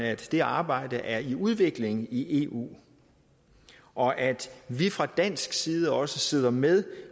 at det arbejde er i udvikling i eu og at vi fra dansk side også sidder med